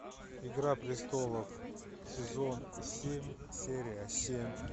игра престолов сезон семь серия семь